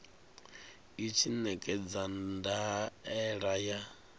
i tshi ṋekedza ndaela ya